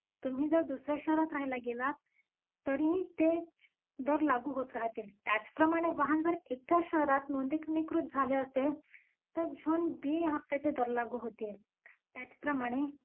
अ Bun मध्ये half असतो bun बरोबर. एक असा